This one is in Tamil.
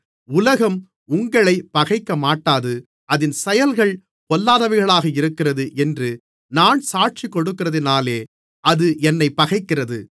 உலகம் உங்களைப் பகைக்கமாட்டாது அதின் செயல்கள் பொல்லாதவைகளாக இருக்கிறது என்று நான் சாட்சி கொடுக்கிறதினாலே அது என்னைப் பகைக்கிறது